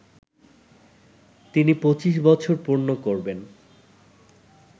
তিনি ২৫ বছর পূর্ণ করবেন